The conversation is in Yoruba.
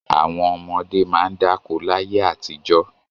Àwọn ọmọdé máa ń dáko láyé àtijọ́.